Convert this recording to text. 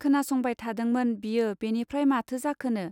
खोनासंबाय थादोंमोन बियो बेनिफ्राय माथो जाखोनो.